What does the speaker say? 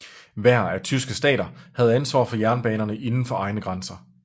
Hver af tyske stater havde ansvar for jernbanerne indenfor egne grænser